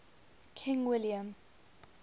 king william